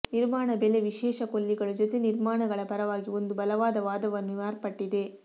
ನಿರ್ಮಾಣ ಬೆಲೆ ವಿಶೇಷ ಕೊಲ್ಲಿಗಳು ಜೊತೆ ನಿರ್ಮಾಣಗಳ ಪರವಾಗಿ ಒಂದು ಬಲವಾದ ವಾದವನ್ನು ಮಾರ್ಪಟ್ಟಿದೆ